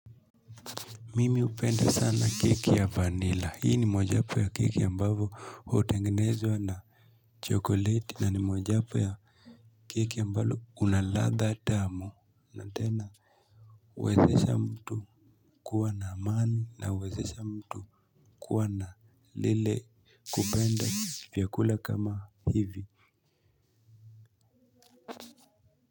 Mimi upenda sana keki ya vanilla. Hii ni moa japo ya keki ambavo hutengenezwa na chokoleti na ni mojapo ya keki ambalo kunaladha tamu. Natena, uwezesha mtu kuwa na amani na uwezesha mtu kuwa na lile kupenda vyakula kama hivi.